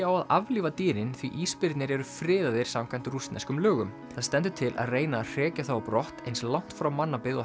á að aflífa dýrin því ísbirnir eru friðaðir samkvæmt rússneskum lögum það stendur til að reyna að hrekja þá á brott eins langt frá mannabyggð og